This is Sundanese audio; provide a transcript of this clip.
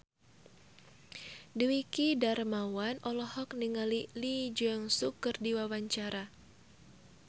Dwiki Darmawan olohok ningali Lee Jeong Suk keur diwawancara